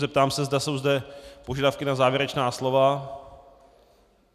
Zeptám se, zda jsou zde požadavky na závěrečná slova.